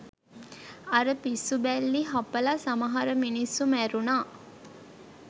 අර පිස්සු බැල්ලි හපල සමහර මිනිස්සු මැරුනා